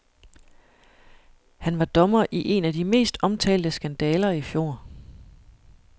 Han var dommer i en af de mest omtalte skandaler i fjor.